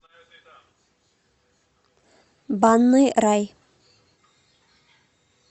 банный рай